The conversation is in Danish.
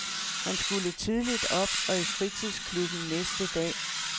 Han skulle tidligt op og i fritidsklubben næste dag.